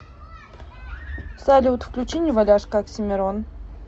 салют включи неваляшка оксимирон